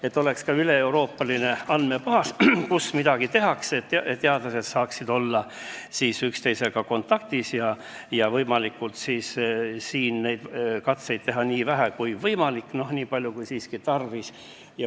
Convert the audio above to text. Peaks olema ka üleeuroopaline andmebaas, et teadlased saaksid olla üksteisega kontaktis ja kursis sellega, kus midagi tehakse, et teha loomkatseid nii vähe kui võimalik ja nii palju kui siiski tarvis.